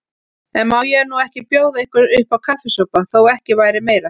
En má ég nú ekki bjóða ykkur uppá kaffisopa, þó ekki væri meira.